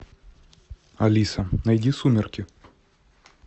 алиса найди сумерки